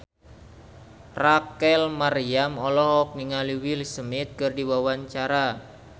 Rachel Maryam olohok ningali Will Smith keur diwawancara